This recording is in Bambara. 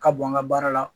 Ka bɔn n ka baara la